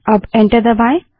अब एंटर दबायें